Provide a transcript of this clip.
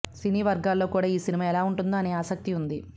సినీ వర్గాల్లో కూడా ఈ సినిమా ఎలా ఉంటుందో అనే ఆసక్తి ఉంది